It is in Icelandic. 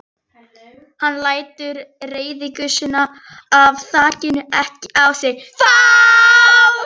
Hann lætur reiðigusuna af þakinu ekki á sig fá.